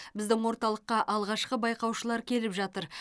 біздің орталыққа алғашқы байқаушылар келіп жатыр